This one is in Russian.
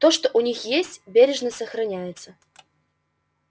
то что у них есть бережно сохраняется